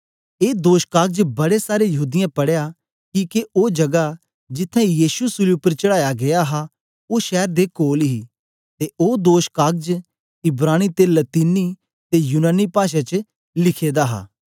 ऐ दोषकागज बड़े सारे यहूदीयें पढ़या किके ओ जगा जिथें यीशु सूली उपर चढ़ाया गीया हा ओ शैर दे कोल ही ते ओ दोषकागज इब्रानी ते लतीनी ते यूनानी पाषा च लिखे दा हा